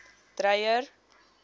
dreyer